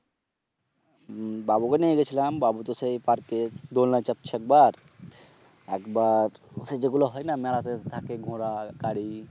বাবুকে নিয়ে গেছিলাম বাবু তো সেই পার্ক এ দোলনা চাপছে একবার, একবার ওই যে যেগুলো হয় না মেলাতে থাকে ঘোড়ার গাড়ি